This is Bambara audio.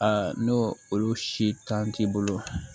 n'o olu si tan t'i bolo